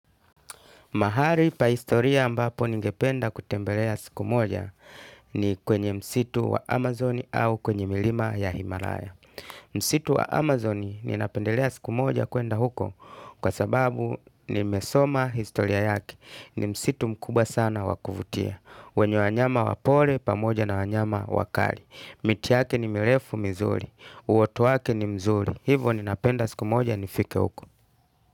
Mahari pa historia mbapo ningependa kutembelea siku moja ni kwenye msitu wa Amazoni au kwenye milima ya Himalaya. Msitu wa Amazoni ninapendelea siku moja kuenda huko kwa sababu nimesoma historia yake. Ni msitu mkubwa sana wa kuvutia. Wenye wanyama wapore pamoja na wanyama wakari. Mitiyake ni mirefu mizuri. Uwatu wake ni mzuri. Hivo ninapenda siku moja nifike huko.